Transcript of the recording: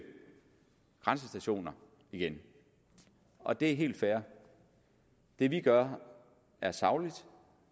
grænsestationer igen og det er helt fair det vi gør er sagligt